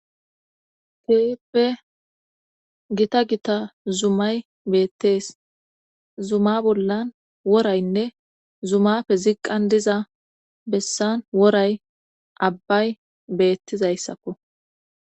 Teeppe gita gita zumay beettees zuma bollan woraynne zumafe ziqqan diza bessan woray abbay beettizayssakko